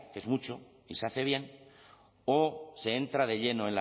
que es mucho y se hace bien o se entra de lleno